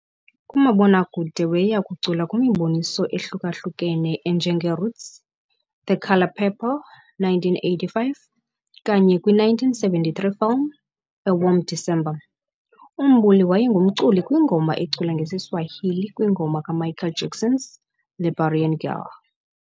Kumabona kude weya cula kwimi boniso ehlukahlukene enjenge Roots, The Color Purple, 1985, kanye kwi 1973 film, A Warm December. UMbuli waye ngumculi kwi ngoma ecula ngesi Swahili kwi ngoma ka Michael Jackson's, Liberian Girl.